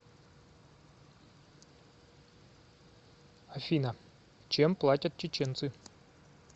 афина чем платят чеченцы